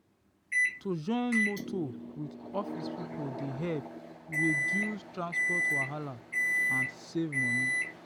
to join motor with office people dey help reduce transport wahala and save money.